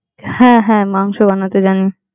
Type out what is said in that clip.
হ্যাঁ, হ্যাঁ মাংস বানাতে জানি।